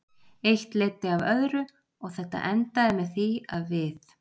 Eitt leiddi af öðru og þetta endaði með því að við.